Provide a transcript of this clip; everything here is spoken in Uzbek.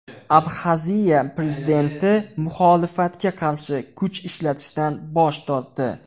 Abxaziya prezidenti muxolifatga qarshi kuch ishlatishdan bosh tortdi.